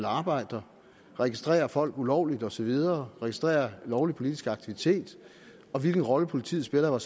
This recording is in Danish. arbejder registrerer folk ulovligt og så videre registrerer lovlig politisk aktivitet og hvilken rolle politiet spiller